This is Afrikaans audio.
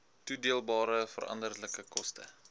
toedeelbare veranderlike koste